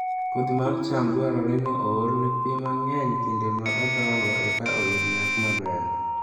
Kodhi mar cham dwarore ni oole pi mang'eny e kinde ma odongo eka oyud nyak maber